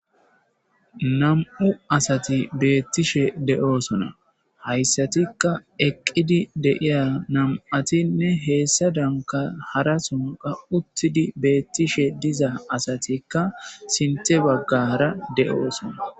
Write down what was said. Nam'u asati beetishe de'osona hayssatika eqqidi de'iya nam'atinne hessadanka harason uttidi beetishe diza asatikka sinththe baggara de'osona.